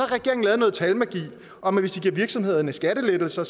regeringen lavet noget talmagi om at hvis de giver virksomhederne skattelettelser